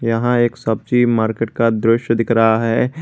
यहाँ एक सब्जी मार्केट का दृश्य दिख रहा है।